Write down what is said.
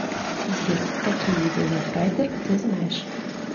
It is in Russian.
сбер какие виды ловрайдер ты знаешь